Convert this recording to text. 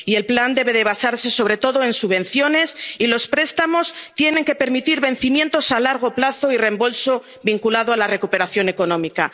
de reconstrucción. El plan debe basarse sobre todo en subvenciones, y los préstamos tienen que permitir vencimientos a largo plazo y reembolso vinculado a la recuperación